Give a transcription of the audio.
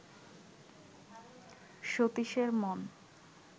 সতীশের মন